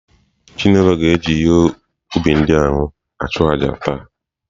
Chinelo ga-eji ihe ubi ndị ahụ achụ àjà taa.